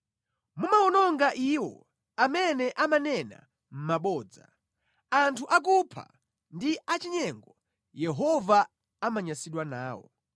Mumawononga iwo amene amanena mabodza; anthu akupha ndi achinyengo, Yehova amanyansidwa nawo.